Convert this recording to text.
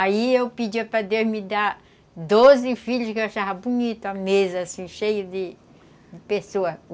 Aí eu pedia para Deus me dar doze filhos que eu achava bonito a mesa, assim, cheia de de pessoas.